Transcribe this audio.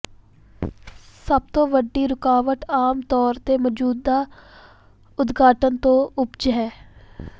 ਸਭ ਤੋਂ ਵੱਡੀ ਰੁਕਾਵਟ ਆਮ ਤੌਰ ਤੇ ਮੌਜੂਦਾ ਉਦਘਾਟਨ ਤੋਂ ਉਪਜ ਹੈ